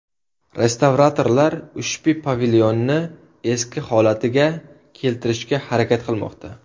Restavratorlar ushbu pavilonni eski holatiga keltirishga harakat qilmoqda.